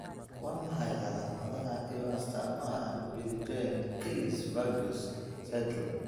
Waa maxay calaamadaha iyo astaamaha Viljoen Kallis Voges syndrome?